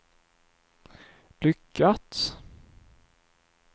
lyckats